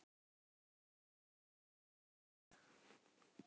Það er eitthvað annað en í Rangárvallasýslu.